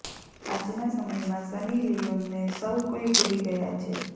આજના સમયમાં સની લીયોનને સૌ કોઈ ભૂલી ગયા છે